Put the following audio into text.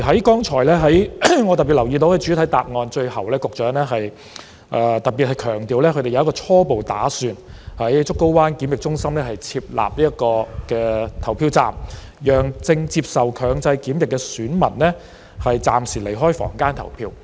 剛才我特別留意到，在主體答案的最後部分，局長特別強調他們初步打算在竹篙灣檢疫中心設立投票站，讓正接受強制檢疫的選民暫時離開房間投票。